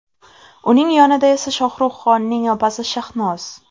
Uning yonida esa Shohruh Xonning opasi Shahnoz.